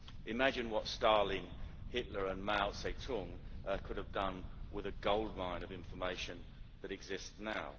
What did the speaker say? Imagine what Stalin, Hitler and Mao Tse tung could have done with the goldmine of information that exists now.